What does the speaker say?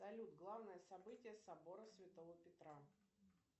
салют главное событие собора святого петра